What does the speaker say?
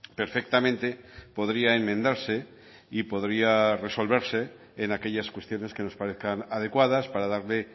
perfectamente podría enmendarse y podría resolverse en aquellas cuestiones que nos parezcan adecuadas para darle